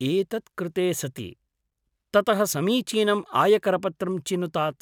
एतत् कृते सति, ततः समीचीनम् आयकरपत्रं चिनुतात्।